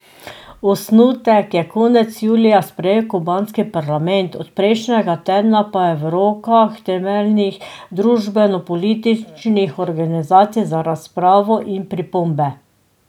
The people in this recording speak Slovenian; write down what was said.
Osnutek je konec julija sprejel kubanski parlament, od prejšnjega tedna pa je v rokah temeljnih družbenopolitičnih organizacij za razpravo in pripombe.